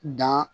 Dan